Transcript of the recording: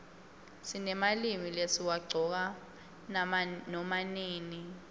sinemalimi lesiwaqcoka nama nini